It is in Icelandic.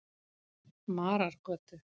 Marargötu